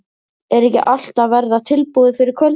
Er ekki allt að verða tilbúið fyrir kvöldið?